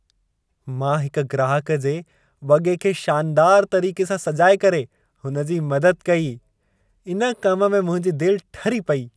मां हिकु ग्राहक जे वॻे खे शानदार तरीक़े सां सजाए करे हुन जी मदद कई। इन कम में मुंहिंजी दिलि ठरी पेई।